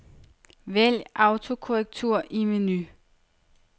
Vælg autokorrektur i menu.